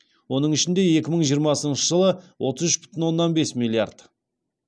оның ішінде екі мың жиырмасыншы жылы отыз үш бүтін оннан бес миллиард